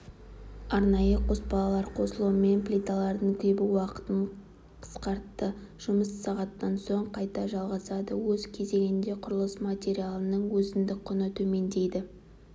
арнайы қоспалар қосылуымен плиталардың кебу уақытын қысқартты жұмыс сағаттан соң қайта жалғасады өз кезегінде құрылыс материалының өзіндік құны төмендейді